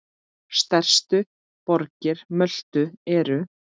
Stærstu borgir Möltu eru